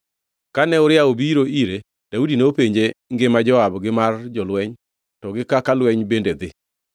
Kane Uria obiro ire, Daudi nopenje ngima Joab gi mar jolweny to gi kaka lweny bende dhi.